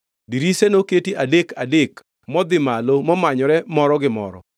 Dirise noketi adek adek modhi malo momanyore moro gi moro.